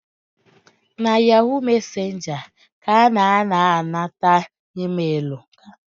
Na ‘yahoo messenger’ ka a na ana-anata emailu